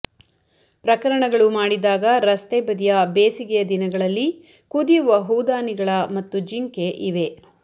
ಪ್ರಕರಣಗಳು ಮಾಡಿದಾಗ ರಸ್ತೆ ಬದಿಯ ಬೇಸಿಗೆಯ ದಿನಗಳಲ್ಲಿ ಕುದಿಯುವ ಹೂದಾನಿಗಳ ಮತ್ತು ಜಿಂಕೆ ಇವೆ